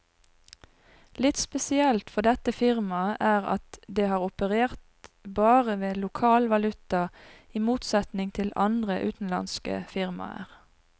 Litt spesielt for dette firmaet er at det har operert bare med lokal valuta, i motsetning til andre utenlandske firmaer.